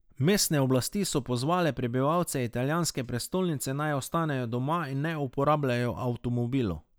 Mestne oblasti so pozvale prebivalce italijanske prestolnice, naj ostanejo doma in ne uporabljajo avtomobilov.